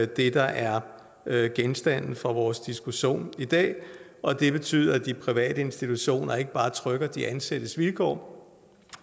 det der er genstand for vores diskussion i dag og det betyder at de private institutioner ikke bare trykker de ansattes vilkår